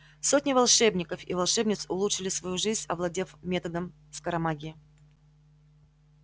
сотни волшебников и волшебниц улучшили свою жизнь овладев методом скоромагии